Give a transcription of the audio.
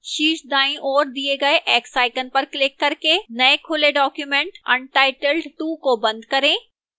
शीर्ष दाईं ओर दिए गए x icon पर क्लिक करके नए खुले document untitled 2 को बंद करें